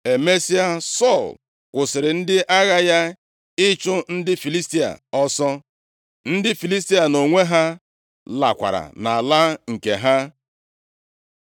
Emesịa, Sọl kwụsịrị ndị agha ya ịchụ ndị Filistia ọsọ. Ndị Filistia nʼonwe ha lakwara nʼala nke ha.